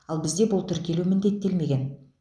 ал бізде бұл тіркелу міндеттелмеген